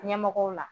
Ɲɛmɔgɔw la